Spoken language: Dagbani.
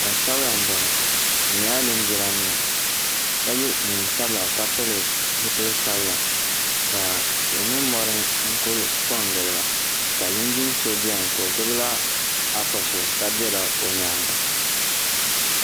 gbaŋ' sabila m-bɔŋɔ bɛ nyɛla linjimanima ka ye neen' sabila ka pili zupil' sabila ka tihi ni mɔri n-kuli kɔŋ gili ba ka linjin' so beni ka o gbubi la Afa so ka be la o nyaaga.